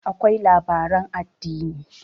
akwai labaran addini